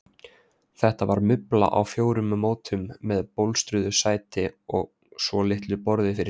Þetta var mubla á fjórum fótum með bólstruðu sæti og svolitlu borði fyrir símann.